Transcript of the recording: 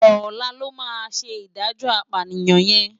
Òlá lò má sé idájò ápániyan yèn